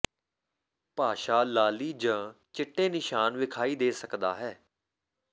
ਭਾਸ਼ਾ ਲਾਲੀ ਜ ਚਿੱਟੇ ਨਿਸ਼ਾਨ ਵਿਖਾਈ ਦੇ ਸਕਦਾ ਹੈ